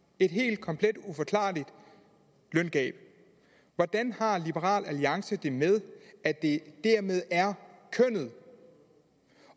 et helt komplet uforklarligt løngab hvordan har liberal alliance det med at det dermed er kønnet